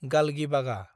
गालगिबागा